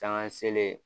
Caman selen